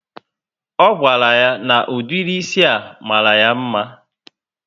O gwara ya na ụdịrị ísì a mara ya mma